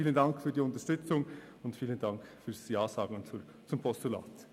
Vielen Dank für Ihre Unterstützung und Ihr Ja zum Postulat.